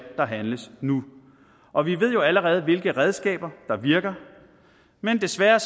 der handles nu og vi ved jo allerede hvilke redskaber der virker men desværre